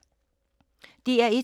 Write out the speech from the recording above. DR1